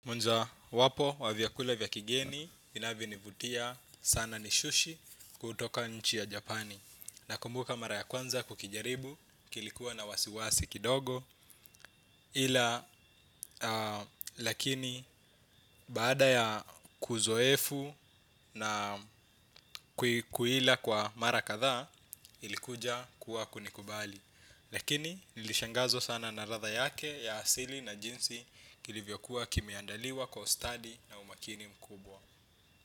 Kwanza wapo wa vyakula vya kigeni inavyonivutia sana ni sushi kutoka nchi ya japani. Nakumbuka mara ya kwanza kukijaribu kilikuwa na wasiwasi kidogo. Ila lakini baada ya kuzoefu na kuila kwa mara kadha ilikuja kuwa kunikubali. Lakini nilishangazwa sana na ladha yake ya asili na jinsi kilivyokuwa kimeandaliwa kwa ustadi na umakini mkubwa. Kwa hiyo.